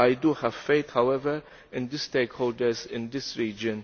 I do have faith however in the stakeholders in this region.